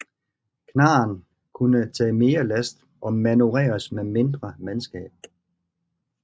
Knarren kunne tage mere last og manøvreres med mindre mandskab